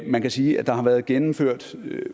man kan sige at der har været gennemført